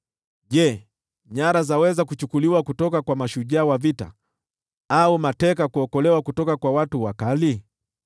Je, nyara zaweza kuchukuliwa kutoka kwa mashujaa wa vita, au mateka kuokolewa kutoka kwa watu wakali?